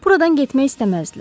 Buradan getmək istəməzdilər.